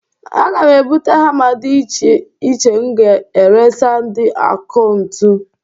Aga m ebute hama di iche iche m ga-eresa ndị ọkụntu.